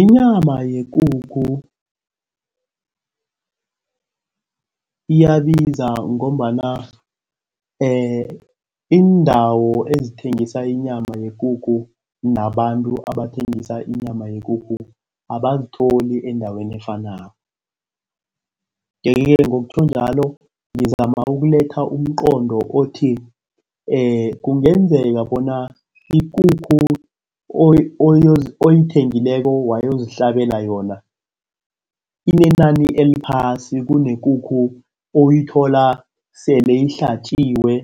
Inyama yekukhu iyabiza ngombana iindawo ezithengisa inyama yekukhu nabantu abathengisa inyama yekukhu abazitholi endaweni efanako, nje-ke ngokutjho njalo ngizama ukuletha umqondo othi kungenzeka bona ikukhu oyithengileko wayozihlabela yona inenani eliphasi kunekukhu oyithola sele ihlatjiwe